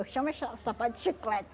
Eu chamo eh cha sapato de chiclete.